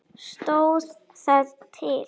Stóð það til?